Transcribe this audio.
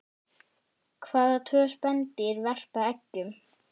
Hvaða tvö spendýr verpa eggjum?